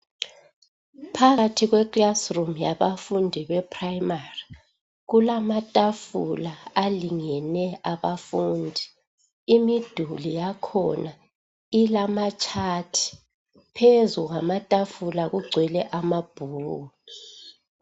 Phakathi kweclassroom yabafundi beprimary kulamatafula alingene abafundi. Imiduli yakhona ilamatshathi. Phezu kwamatafula kugcwele amabhuku.